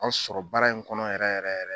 An sɔrɔ baara in kɔnɔ yɛrɛ yɛrɛ yɛrɛ